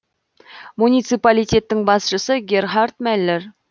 муниципалитеттің басшысы герхард мэллер